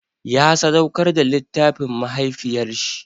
Ya sadauƙar da littafin ma mahaifiyar shi.